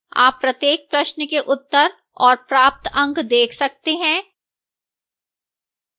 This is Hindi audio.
आप प्रत्येक प्रश्न के उत्तर और प्राप्त अंक देख सकते हैं